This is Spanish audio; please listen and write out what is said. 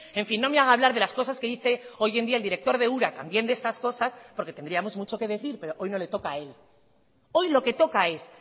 en fin no me haga hablar de las cosas que dice hoy en día el director de ura también de estas cosas porque tendríamos mucho que decir pero hoy no le toca a él hoy lo que toca es